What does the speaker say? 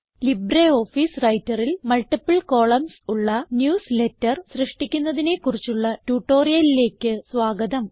LibreOffice Writerൽ multiple columns ഉള്ള newsletter സൃഷ്ടിക്കുന്നതിനെ കുറിച്ചുള്ള ട്യൂട്ടോറിയലിലേക്ക് സ്വാഗതം